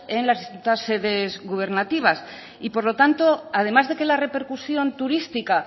en las distintas sedes gubernativas y por lo tanto además de que la repercusión turística